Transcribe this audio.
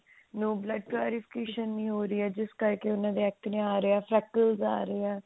ਉਹ blood purification ਨਹੀ ਹੋ ਰਹੀ ਹੈ ਜਿਸ ਕਰਕੇ ਉਹਨਾਂ ਦੇ acne ਆ ਰਹੇ ਆ